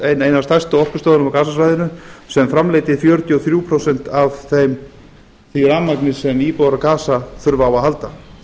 eina af stærstu orkustöðvunum á gasasvæðinu sem framleiddi fjörutíu og þrjú prósent af því rafmagni sem íbúar á gasa þurfa á að halda